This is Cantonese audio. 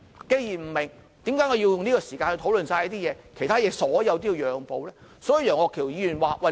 既然不明白，為何要花時間討論這些東西，而其他所有事項都要讓步呢？